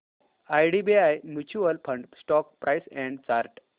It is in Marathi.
IDBI mutual fund stock price and chart